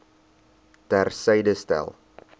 ter syde stel